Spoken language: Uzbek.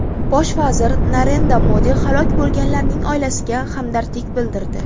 Bosh vazir Narendra Modi halok bo‘lganlarning oilasiga hamdardlik bildirdi.